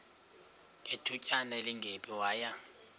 ngethutyana elingephi waya